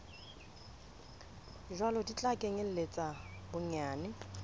jwalo di tla kenyeletsa bonyane